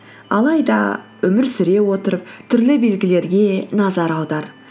алайда өмір сүре отырып түрлі белгілерге назар аудар